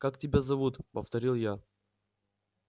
как тебя зовут повторил я